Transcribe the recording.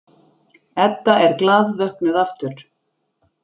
Edda er glaðvöknuð aftur.